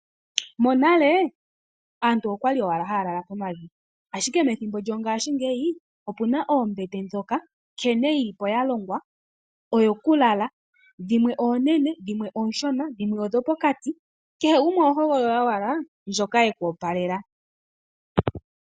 Monale aantu okwali owala haya lala pomavi, ashike pethimbo lyo ngaashingeyi opuna oombete ndhoka nkene yi li po ya longwa odho ku lala. Dhimwe oone, dhimwe oonshona dhimwe odho pokati, kehe gumwe oho hogolola owala ndjoka yeku opalela